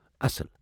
اصل ۔